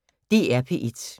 DR P1